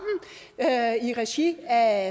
i regi af